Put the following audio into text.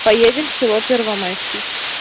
поедем в село первомайский